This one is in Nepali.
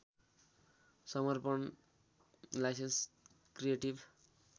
समर्पण लाइसेन्स क्रिएटिभ